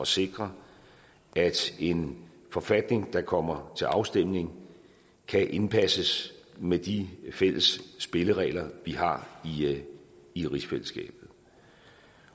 sikre at en forfatning der kommer til afstemning kan indpasses med de fælles spilleregler vi har i rigsfællesskabet